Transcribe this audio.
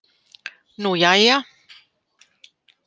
Nú jæja.